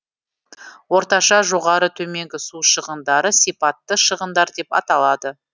орташа жоғары төменгі су шығындары сипатты шығындар деп аталады